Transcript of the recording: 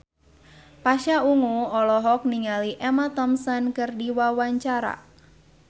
Pasha Ungu olohok ningali Emma Thompson keur diwawancara